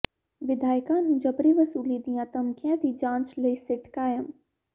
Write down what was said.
ਵਿਧਾਇਕਾਂ ਨੂੰ ਜਬਰੀ ਵਸੂਲੀ ਦੀਆਂ ਧਮਕੀਆਂ ਦੀ ਜਾਂਚ ਲਈ ਸਿੱਟ ਕਾਇਮ